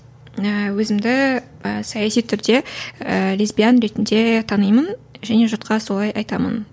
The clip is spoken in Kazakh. ііі өзімді саясы түрде лесбиян ретінде танимын және жұртқа солай айтамын